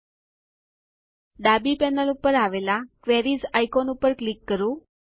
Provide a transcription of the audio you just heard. ચાલો ડાબી પેનલ ઉપર આવેલાં ક્વેરીઝ આઇકોનને ક્લિક કરીએ